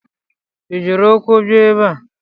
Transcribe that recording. Ị jiri ụkwụ bia ebe a?